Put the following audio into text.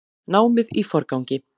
Námið í forgangi